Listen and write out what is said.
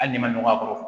Hali n'i ma nɔgɔ a kɔrɔ